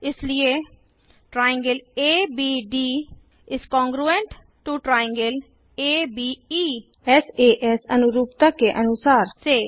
इसलिए △ABD ≅ △ABE सास अनुरूपता के अनुसार से